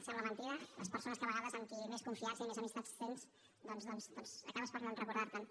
sembla mentida les persones que a vegades amb qui més confiança i més amistat tens doncs acabes per no recordar te’n